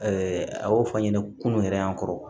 a y'o fɔ an ɲɛna kunun yɛrɛ y'an kɔrɔ